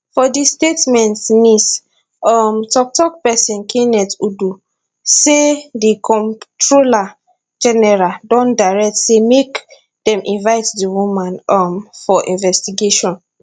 for di statement nis um toktok pesin kenneth udo say di comptroller general don direct say make dem invite di woman um for investigation